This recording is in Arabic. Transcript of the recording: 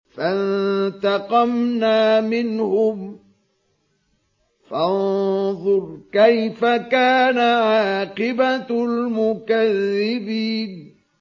فَانتَقَمْنَا مِنْهُمْ ۖ فَانظُرْ كَيْفَ كَانَ عَاقِبَةُ الْمُكَذِّبِينَ